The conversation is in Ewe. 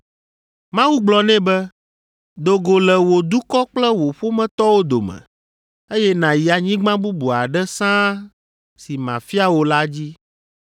Mawu gblɔ nɛ be, ‘Do go le wò dukɔ kple wò ƒometɔwo dome, eye nàyi anyigba bubu aɖe sãa si mafia wò la dzi.’